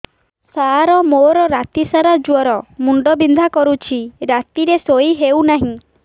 ସାର ମୋର ରାତି ସାରା ଜ୍ଵର ମୁଣ୍ଡ ବିନ୍ଧା କରୁଛି ରାତିରେ ଶୋଇ ହେଉ ନାହିଁ